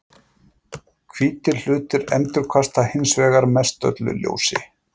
Hvítir hlutir endurkasta hins vegar mestöllu ljósi.